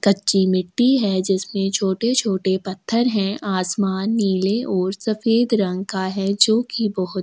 कच्ची मिट्टी है जिसमे छोटे-छोटे पत्थर है आसमान नीला और सफ़ीद रंग का है जो की बहोत--